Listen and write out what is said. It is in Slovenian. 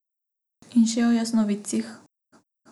In še o jasnovidcih.